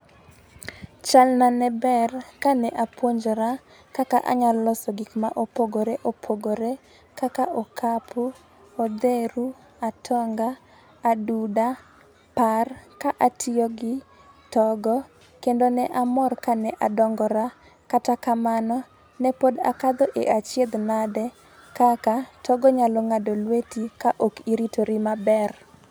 Chalna ne ber kane apuonjora kaka anya loso gik mopogore opogore kaka okapu, odheru, atonga , aduda , par ka atiyo gi togo kendo ne amor kane adongora . Kata kamano ne pod akadho e achiedh nade kaka togo nyalo ng'ado lweti ka ok iritori maber.